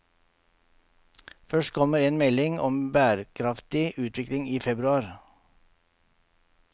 Først kommer en melding om bærekraftig utvikling i februar.